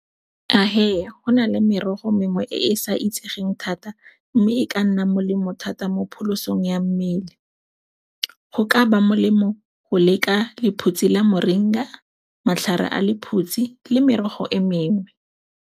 Go na le merogo mengwe e e sa itsegeng thata mme e ka nna molemo thata mo pholosong ya mmele. Go ka ba molemo go leka lephutsi la moringa, matlhare a lephutsi le merogo e mengwe.